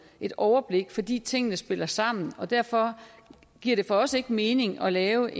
et overblik fordi tingene spiller sammen derfor giver det for os ikke mening at lave